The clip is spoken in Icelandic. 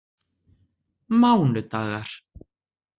mánudagar